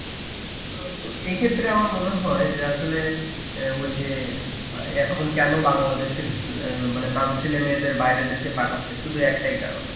অ্যাঁ এই ক্ষেত্রে আমার মনে হয় আসলে ওই যে এখন কেন বাংলাদেশে অ্যাঁ মানে তাদের ছেলেমেয়েদের বাইরের দেশে পাঠাচ্ছে শুধু একটাই কারণ.